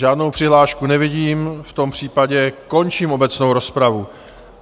Žádnou přihlášku nevidím, v tom případě končím obecnou rozpravu.